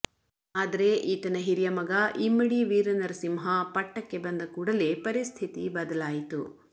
ಆದರೆ ಈತನ ಹಿರಿಯ ಮಗ ಇಮ್ಮಡಿ ವೀರನರಸಿಮಹ ಪಟ್ಟಕ್ಕೆ ಬಂದ ಕೂಡಲೇ ಪರಿಸ್ಥಿತಿ ಬದಲಾಯಿತು